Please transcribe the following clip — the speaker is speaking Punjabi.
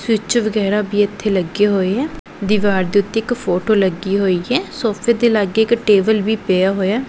ਸਵਿੱਚ ਵਗੈਰਾ ਵੀ ਇੱਥੇ ਲੱਗੇ ਹੋਏ ਹੈਂ ਦਿਵਾਰ ਦੇ ਓੱਤੇ ਇੱਕ ਫੋਟੋ ਲੱਗੀ ਹੋਈ ਹੈ ਸੋਫ਼ੇ ਦੇ ਲਾਗੇ ਇੱਕ ਟੇਬਲ ਵੀ ਪਿਆ ਹੋਇਆ ਹੈ।